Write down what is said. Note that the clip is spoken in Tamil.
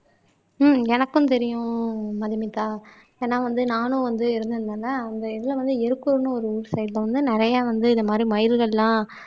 ஹம் எனக்கும் தெரியும் மதுமிதா ஏன்னா வந்து நானும் வந்து இருந்திருந்தேன்னா அந்த இதுல வந்து எருக்கூர் ஒரு ஊரு சைடுல வந்து நிறைய வந்து இந்த மாறி மயில்கள் எல்லாம்